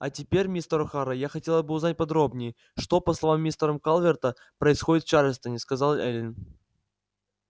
а теперь мистер охара я хотела бы узнать подробнее что по словам мистера калверта происходит в чарльстоне сказала эллин